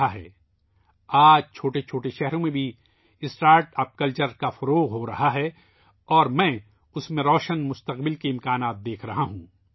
آج startup culture چھوٹے شہروں میں بھی پھیل رہا ہے اور میں اس میں روشن مستقبل کے آثار دیکھ رہا ہوں